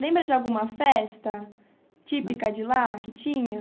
Lembra de alguma festa típica de lá que tinha?